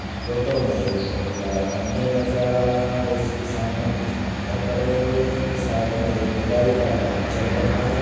Photo में एक बहोत बड़ा मंदिर नज़र आ रहा है। इसके सामने कुछ पत्थर पड़े हुए है। साइड में एक खुदाई का काम चल रहा है।